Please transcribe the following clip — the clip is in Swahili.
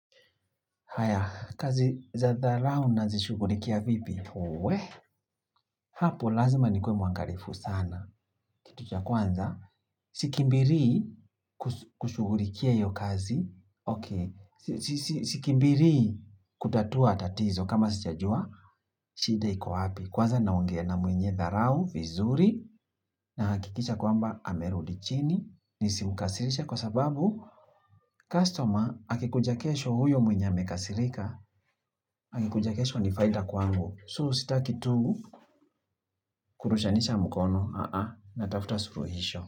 Haya, kazi za dharau na zishugurikia vipi? Huwe, hapo lazima nikue mwangalifu sana. Kitu cha kwanza, sikimbili kushugulikia hiyo kazi. Ok, sikimbili kutatua tatizo kama sijajua, shida iko wapi. Kwaza naongea na mwenye tharau, vizuri, na hakikisha kwamba amerudichini. Nisimukasirishe kwa sababu, customer akikuja kesho huyo mwenye amekasirika. Akikuja kesho ni faida kwangu So sitaki tu Kurushanisha mukono na tafuta suruhisho.